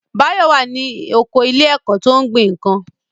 Báyọ̀ wà ní oko ilé ẹ̀kọ́ tó ń gbin nǹkan